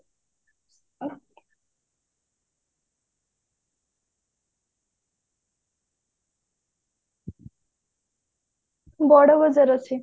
ବଡ ବଜାର ଅଛି